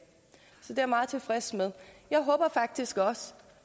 så det er jeg meget tilfreds med jeg håber faktisk også